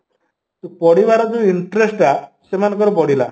ତ ପଢ଼ିବାର ଯୋଉ interest ଟା ସେମାନଙ୍କର ବଢ଼ିଲା